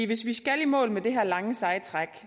hvis vi skal i mål med det her lange seje træk